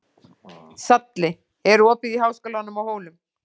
Salli, er opið í Háskólanum á Hólum?